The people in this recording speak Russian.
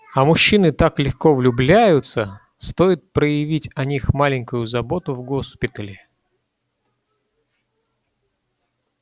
а мужчины так легко влюбляются стоит проявить о них маленькую заботу в госпитале